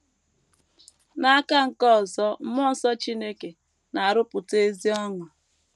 N’aka nke ọzọ, mmụọ nsọ Chineke na - arụpụta ezi ọṅụ.